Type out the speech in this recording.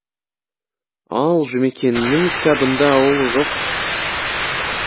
ал жұмекеннің кітабында ол жоқ